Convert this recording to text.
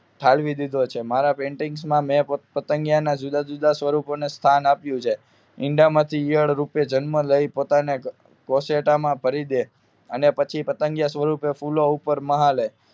ઠાલવી દીધો છે મારા Painting માં મેં પતંગિયા ના જુદા જુદા સ્વરૂપો ને સ્થાન આપ્યુ છે ઈંડામાંથી ઇયળ રૂપે જનમ લઈ પોતાની કસાટા માં ભરી દે અને પતંગિયા સ્વરૂપે ફૂલો પર મહાલે